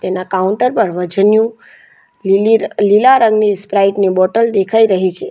ત્યાં કાઉન્ટર પર વજનિયું લીલી લીલા રંગની સ્પ્રાઇટ ની બોટલ દેખાઈ રહી છે.